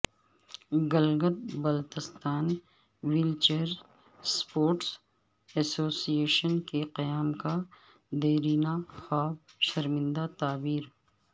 Gilgit Baltistan wheelchair sports association کے قیام کا دیرینہ خواب شرمندہ تعبیر